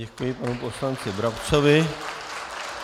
Děkuji panu poslanci Brabcovi.